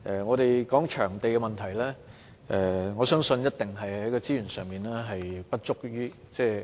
關於場地問題，我相信一定與資源不足有關。